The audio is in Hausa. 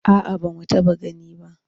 A'a ba mu taɓa gani ba.